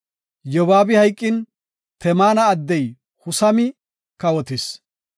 Yobaabi hayqin, Temaana addey Husami kawotis.